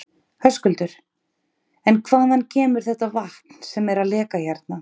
Höskuldur: En hvaðan kemur þetta vatn sem er að leka hérna?